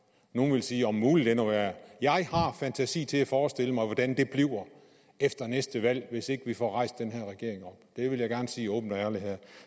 nogle ville sige om muligt endnu værre jeg har fantasi til at forestille mig hvordan det bliver efter næste valg hvis ikke vi får rejst den her regering op det vil jeg gerne sige åbent og ærligt her